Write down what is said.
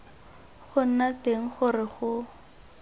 go nna teng gore go